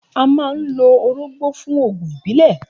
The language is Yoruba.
A máa ń lo orógbó fún oògùn ìbílẹ̀.